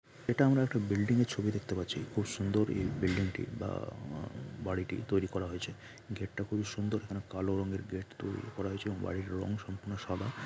এটা আমরা একটা বিল্ডিং এর ছবি দেখতে পাচ্ছি খুব সুন্দর এই বিল্ডিং টি বা-আ- বাড়িটি তৈরি করা হয়েছে গেট টা খুবই সুন্দর এখানে কালো রঙের গেট তৈরি করা হয়েছে এবং বাড়ির রং সম্পূর্ণ সাদা।